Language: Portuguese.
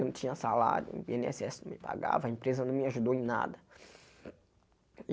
Eu não tinha salário, o i êne ésse ésse não me pagava, a empresa não me ajudou em nada.